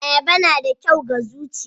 Ayaba na da kyau ga zuchiya.